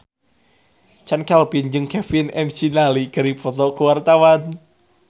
Chand Kelvin jeung Kevin McNally keur dipoto ku wartawan